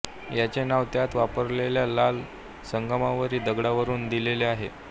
याचे नाव त्यात वापरलेल्या लाल संगमरवरी दगडावरून दिलेले आहे